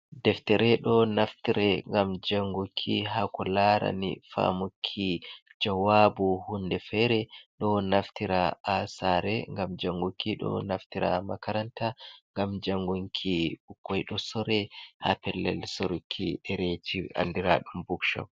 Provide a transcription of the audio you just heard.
Deftere ɗo naftire ngam janguki ha ko larani famuki jawabu hunde fere, ɗo naftira ha saare ngam janguki, ɗo naftira ha makaranta ngam jangunki, sore ha pellel soruki dereji andiraɗum book shop.